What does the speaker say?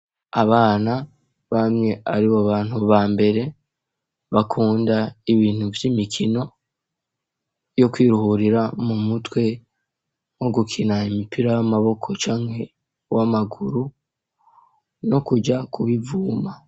Abana bamwe ari bo bantu ba mbere bakunda ibintu vy'imikino yo kwiruhurira mu mutwe mwo gukina imipira y'amaboko canke w'amaguru no kuja kubivuma.